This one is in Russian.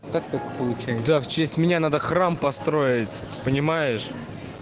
как так получается в честь меня надо храм построить понимаешь